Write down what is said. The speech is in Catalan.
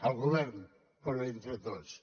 el govern però entre tots